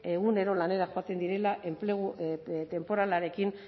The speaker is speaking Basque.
egunero lanera joaten direla enplegu tenporalarekin